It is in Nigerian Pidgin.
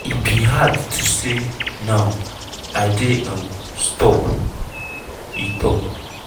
"e bin dey hard to say now i dey um stop" e tok.